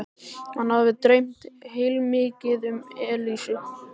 Hann hafði dreymt heilmikið um Elísu.